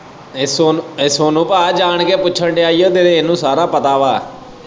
ਇਹ ਸੋਨੂੰ ਇਹ ਸੋਨੂੰ ਪਾ ਜਾਣ ਕੇ ਹੀ ਪੁੱਛਣ ਦਿਆ ਹੀ ਹੋ ਇਹਨੂੰ ਸਾਰਾ ਪਤਾ ਵਾ।